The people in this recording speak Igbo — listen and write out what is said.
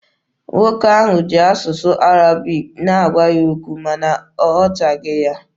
Nwoke ahụ ji asụsụ Arabic na-agwa ya okwu, ma na ọ ghọtaghị ya.